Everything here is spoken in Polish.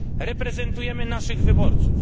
reprezentujemy naszych wyborców.